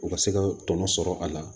U ka se ka tɔnɔ sɔrɔ a la